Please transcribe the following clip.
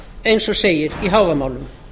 eins og segir í hávamálum